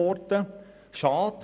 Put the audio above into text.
Das ist schade.